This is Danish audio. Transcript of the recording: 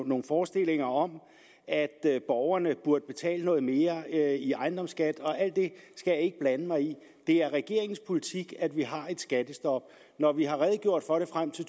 nogle forestillinger om at borgerne burde betale noget mere i ejendomsskat og alt det skal jeg ikke blande mig i det er regeringens politik at vi har et skattestop når vi har redegjort for det frem til